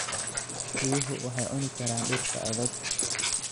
Riyuhu waxay cuni karaan dhirta adag.